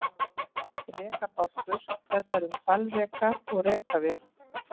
Rekabálkur fjallar um hvalreka og rekavið.